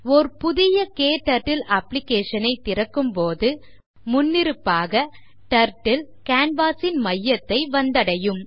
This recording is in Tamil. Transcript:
ஓர் புதிய க்டர்ட்டில் application ஐ திறக்கும்போது முன்னிருப்பாகTurtle canvas ன் மையத்தை வந்தடையும்